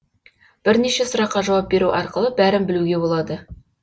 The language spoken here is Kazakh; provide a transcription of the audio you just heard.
бірнеше сұраққа жауап беру арқылы бәрін білеуге болады